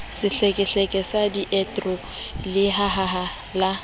sehlekehleke sa diedro lehaha la